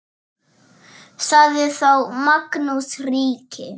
Sagði þá Magnús ríki: